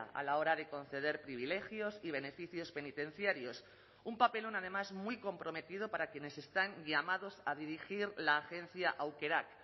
a la hora de conceder privilegios y beneficios penitenciarios un papelón además muy comprometido para quienes están llamados a dirigir la agencia aukerak